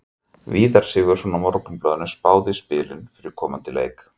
Víðir Sigurðsson á Morgunblaðinu spáði í spilin fyrir komandi leiki.